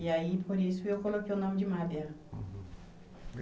E aí, por isso, eu coloquei o nome de Mábia.